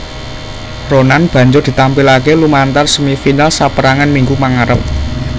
Ronan banjur ditampilaké lumantar semi final saperangan minggu mangarep